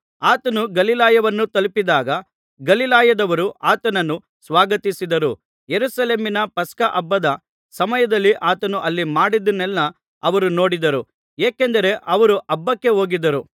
ಆತನು ಗಲಿಲಾಯವನ್ನು ತಲುಪಿದಾಗ ಗಲಿಲಾಯದವರು ಆತನನ್ನು ಸ್ವಾಗತಿಸಿದರು ಯೆರೂಸಲೇಮಿನ ಪಸ್ಕಹಬ್ಬದ ಸಮಯದಲ್ಲಿ ಆತನು ಅಲ್ಲಿ ಮಾಡಿದ್ದನ್ನೆಲ್ಲಾ ಅವರು ನೋಡಿದ್ದರು ಏಕೆಂದರೆ ಅವರೂ ಹಬ್ಬಕ್ಕೆ ಹೋಗಿದ್ದರು